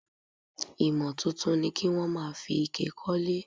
Ìmò tuntun ni kí wón máa fi ike kólé.